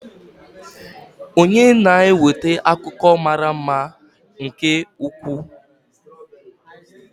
Onye na-eweta akụkọ mara mma nke ukwuu.